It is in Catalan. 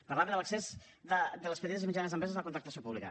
parlava de l’accés de les petites i mitjanes empreses a la contractació pública